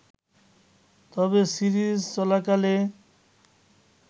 তবে সিরিজ চলাকালে